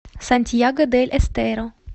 сантьяго дель эстеро